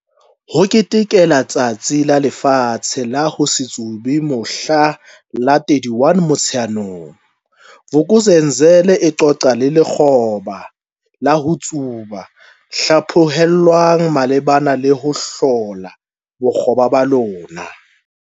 HO KETEKELA Letsatsi la Lefatshe la ho se Tsube mohla la 31 Motsheanong, Vuk'uzenzele e qoqa le lekgoba la ho tsuba le hlaphohelwang malebana le ho hlola bokgoba ba lona.